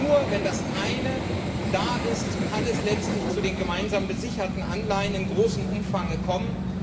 Nur wenn das Eine da ist, kann es letztlich zu den gemeinsam besicherten Anleihen in großem Umfang kommen.